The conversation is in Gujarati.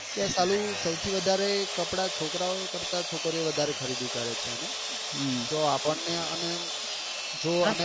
કે સાલું સૌથી વધારે કપડા છોકરા ઓ કરતા છોકરીઓ વધારે ખરીદી કરે છે આને તો આપણને આને જોવા.